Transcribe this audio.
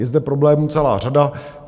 Je zde problémů celá řada.